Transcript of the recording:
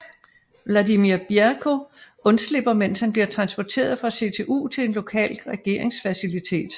Vladimir Bierko undslipper mens han bliver transporteret fra CTU til en lokal regeringsfacilitet